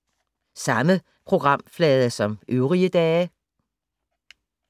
Samme programflade som øvrige dage